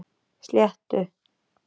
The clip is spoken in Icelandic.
Sléttu